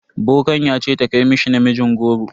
Bokan ya ce ta kai mishi namijin goro.